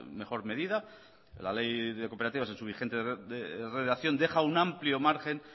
mejor medida la ley de cooperativas en su vigente redacción deja un amplio margen